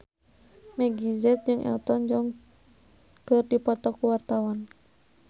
Meggie Z jeung Elton John keur dipoto ku wartawan